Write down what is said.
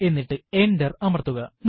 എന്നിട്ട് എന്റര് അമർത്തുക